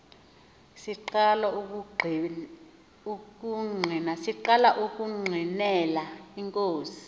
siqala ukungqinela inkosi